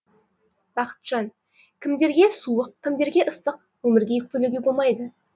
бақытжан кімдерге суық кімдерге ыстық өмірге өкпелеуге болмайды